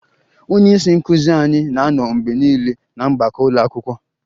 Onye isi nkụzi anyị na-anọ mgbe niile na mgbakọ ụlọ akwụkwọ